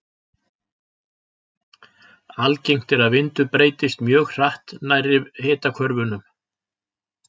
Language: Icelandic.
Algengt er að vindur breytist mjög hratt nærri hitahvörfunum.